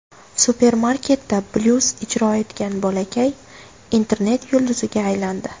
Supermarketda blyuz ijro etgan bolakay internet yulduziga aylandi.